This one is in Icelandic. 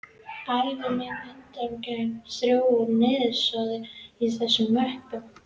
Ævi mín undangengin þrjú ár er niðursoðin í þessari möppu.